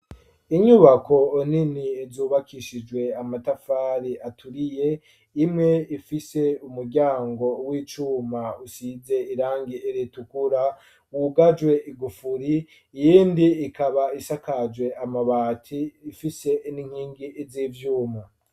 Inyubako nini zubakishijwe amatafari aturiye ,imwe ifise umuryango w'icuma usize irangi ritukura wugajwe igufuri iyindi ikaba isakajwe amabati ifise n'inkingi z'ivyuma.